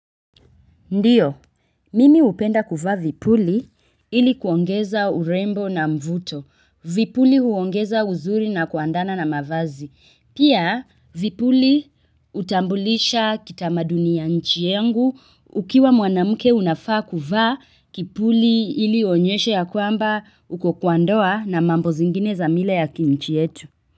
Ndiyo, mimi hupenda kuvaa vipuli ili kuongeza urembo na mvuto. Vipuli huongeza uzuri na kuandana na mavazi. Pia vipuli hutambulisha kitamaduni ya nchi yangu ukiwa mwanamke unafaa kuvaa kipuli ili uonyeshe ya kwamba uko kwa ndoa na mambo zingine za mila ya kinchi yetu.